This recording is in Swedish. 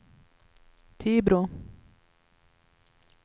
Tibro